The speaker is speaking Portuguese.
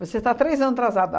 Você está três anos atrasada.